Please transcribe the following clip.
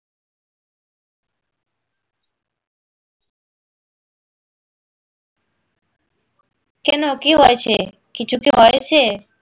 কেন কি হয়েছে কিছু কি হয়েছে?